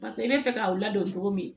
Paseke i bɛ fɛ ka u ladon cogo min